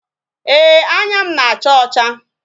Ee, anya m na-acha ọcha